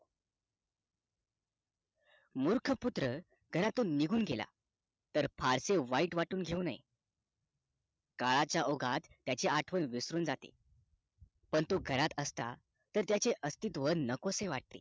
मूर्ख पुत्र घरातून निघून घेला तर फारसे वाईट वाटून घेऊ नये काळाचा ओघात त्याची आठवण विसरून जाते पण तो घरात असला तर त्याचे अस्तीतव नकोसे वाटते